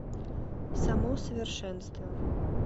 само совершенство